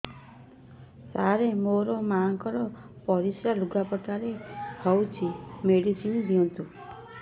ସାର ମୋର ମାଆଙ୍କର ପରିସ୍ରା ଲୁଗାପଟା ରେ ହଉଚି ମେଡିସିନ ଦିଅନ୍ତୁ